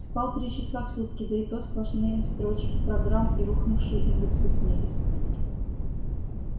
спал три часа в сутки да и то сплошные строчки программ и рухнувшие индексы снились